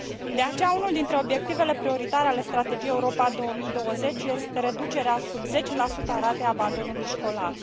De aceea, unul dintre obiectivele prioritare ale Strategiei Europa 2020 este reducerea sub 10 a ratei abandonului școlar.